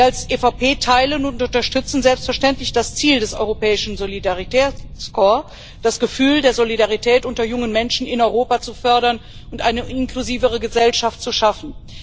Wir als EVP teilen und unterstützen selbstverständlich das Ziel des Europäischen Solidaritätkorps, das Gefühl der Solidarität unter jungen Menschen in Europa zu fördern und eine inklusivere Gesellschaft zu schaffen.